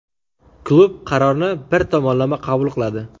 klub qarorni bir tomonlama qabul qiladi.